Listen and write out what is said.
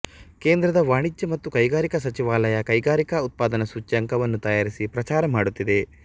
ಕೇಂದ್ರದ ವಾಣಿಜ್ಯ ಮತ್ತು ಕೈಗಾರಿಕಾ ಸಚಿವಾಲಯ ಕೈಗಾರಿಕಾ ಉತ್ಪಾದನ ಸೂಚ್ಯಂಕವನ್ನು ತಯಾರಿಸಿ ಪ್ರಚಾರ ಮಾಡುತ್ತಿದೆ